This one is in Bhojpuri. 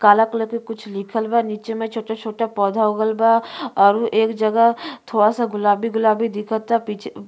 काला कलर के कुछ लिखल बा। नीचे में छोटा-छोटा पौधा उगल बा और एक जगह थोड़ा सा गुलाबी-गुलाबी दिखता पीछे --